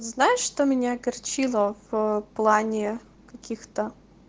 знаешь что меня огорчило в плане каких-то